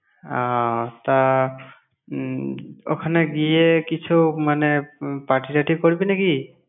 আহ তা উম ওখানে গিয়ে কিছু মানে উম party টাটি করবি নাকি?